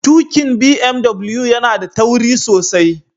Tuƙin BMW yana da tauri sosai